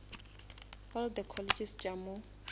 all the colleges tša mo